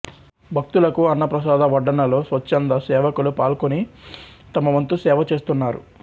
భక్తులకు అన్న ప్రసాద వడ్డనలో స్వశ్చంద సేవకులు పాల్గొని తమవంతుసేవ చేస్తున్నారు